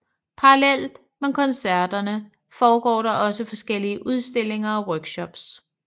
Parallelt med koncerterne foregår der også forskellige udstillinger og workshops